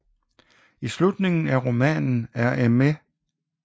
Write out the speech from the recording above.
I slutningen af romanen er Mme